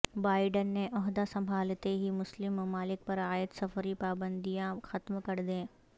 Biden نے عہدہ سنبھالتے ہی مسلم ممالک پرعائد سفری پابندیاں ختم کر دیں